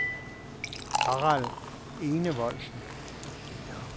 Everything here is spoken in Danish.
Harald Enevoldsen